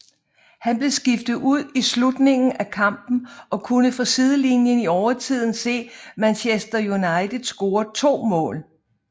Han blev skiftet ud i slutningen af kampen og kunne fra sidelinjen i overtiden se Manchester United score to mål